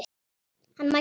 Hann mælti.